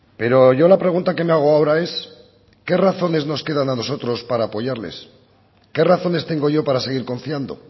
pero yo la pregunta que me hago ahora es qué razones nos quedan a nosotros para apoyarles qué razones tengo yo para seguir confiando